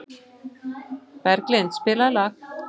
Berglind, spilaðu lag.